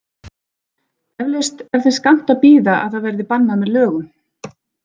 Eflaust er þess skammt að bíða að það verði bannað með lögum.